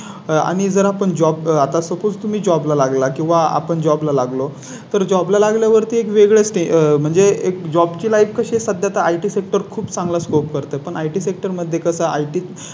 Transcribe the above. आणि जर आपण Job आता तुम्ही Job ला लागला किंवा आपण Job ला लागलो तर Job ला लागल्या वर ती एक वेगळीच म्हणजे एक Job की Life कशी सध्या four zero एक खूप चांगला Scope करते पण It sector मध्ये कसा IT